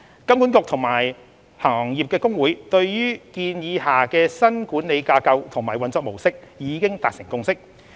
金管局和行業公會對於建議下的新管理架構和運作模式已達成共識。